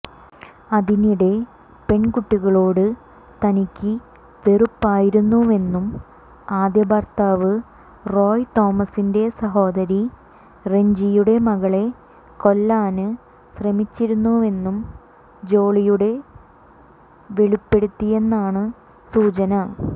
അതിനിടെ പെണ്കുട്ടികളോട് തനിക്ക് വെറുപ്പായിരുന്നുവെന്നും ആദ്യഭര്ത്താവ് റോയ് തോമസിന്റെ സഹോദരി റെഞ്ചിയുടെ മകളെ കൊല്ലാന് ശ്രമിച്ചിരുന്നുവെന്നും ജോളിയുടെ വെളിപ്പെടുത്തിയെന്നാണ് സൂചന